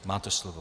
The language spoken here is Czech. Máte slovo.